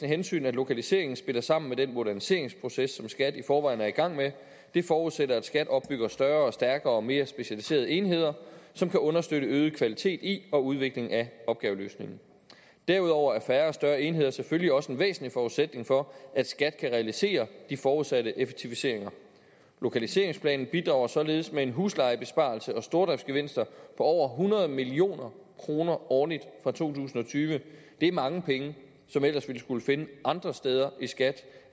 hensyn at lokaliseringen spiller sammen med den moderniseringsproces som skat i forvejen er i gang med det forudsætter at skat opbygger større og stærkere og mere specialiserede enheder som kan understøtte øget kvalitet i og udvikling af opgaveløsningen derudover er færre og større enheder selvfølgelig også en væsentlig forudsætning for at skat kan realisere de forudsatte effektiviseringer lokaliseringsplanen bidrager således med en huslejebesparelse og med stordriftgevinster på over hundrede million kroner årligt fra to tusind og tyve det er mange penge som vi ellers ville skulle finde andre steder i skat